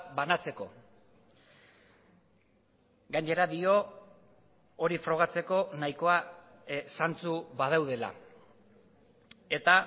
banatzeko gainera dio hori frogatzeko nahikoa zantzu badaudela eta